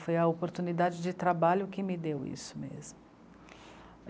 Foi a oportunidade de trabalho que me deu isso mesmo.